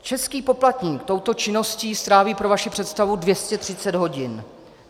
Český poplatník touto činností stráví - pro vaši představu - 230 hodin.